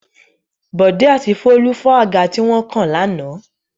Bọ̀dé àti Folú fọ́ àga tí wọ́n kàn lánàá.